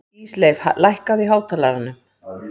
Ísleif, lækkaðu í hátalaranum.